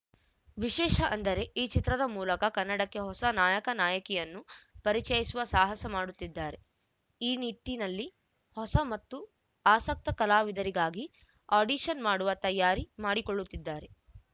ವಿಶೇಷ ಅಂದರೆ ಈ ಚಿತ್ರದ ಮೂಲಕ ಕನ್ನಡಕ್ಕೆ ಹೊಸ ನಾಯಕ ನಾಯಕಿಯನ್ನು ಪರಿಚಯಿಸುವ ಸಾಹಸ ಮಾಡುತ್ತಿದ್ದಾರೆ ಈ ನಿಟ್ಟಿನಲ್ಲಿ ಹೊಸ ಮತ್ತು ಆಸಕ್ತ ಕಲಾವಿದರಿಗಾಗಿ ಆಡಿಷನ್‌ ಮಾಡುವ ತಯಾರಿ ಮಾಡಿಕೊಳ್ಳುತ್ತಿದ್ದಾರೆ